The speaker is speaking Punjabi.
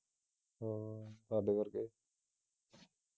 ਹਾਂ ਹਾਡੇ ਵਰਗੇ